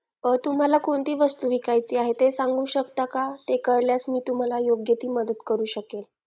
तुम्हाला कोणती वस्तू विकायची आहे ते सांगू शकता का ते कळल्यास मी तुम्हाला योग्य ती मदत करू शकेल